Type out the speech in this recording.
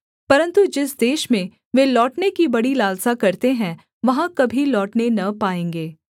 परन्तु जिस देश में वे लौटने की बड़ी लालसा करते हैं वहाँ कभी लौटने न पाएँगे